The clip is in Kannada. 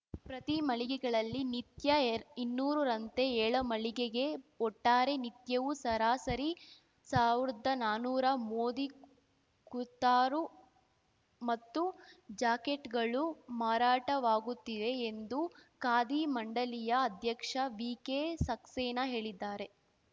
ಪ್ರತಿ ಮಳಿಗೆಗಳಲ್ಲಿ ನಿತ್ಯ ಇನ್ನೂರ ರಂತೆ ಏಳು ಮಳಿಗೆಗೆ ಒಟ್ಟಾರೆ ನಿತ್ಯವೂ ಸರಾಸರಿ ಸಾವ್ರ್ದಾ ನಾನುರಾ ಮೋದಿ ಕುರ್ತಾರು ಮತ್ತು ಜಾಕೆಟ್‌ಗಳು ಮಾರಾಟವಾಗುತ್ತಿದೆ ಎಂದು ಖಾದಿ ಮಂಡಳಿಯ ಅಧ್ಯಕ್ಷ ವಿಕೆಸಕ್ಸೇನಾ ಹೇಳಿದ್ದಾರೆ